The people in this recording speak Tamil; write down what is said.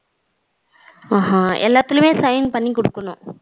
அஹ ஹ எல்லாத்துலையும் sign பண்ணி குடுக்கணும்.